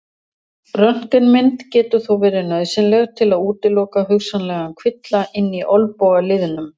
Röntgenmynd getur þó verið nauðsynleg til að útiloka hugsanlegan kvilla inni í olnbogaliðnum.